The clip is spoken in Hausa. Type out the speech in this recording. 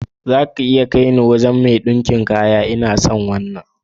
Ko zaki iya kaine zuwa wajan mai ɗinka miki kaya? Ina son wannan.